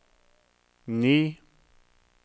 ni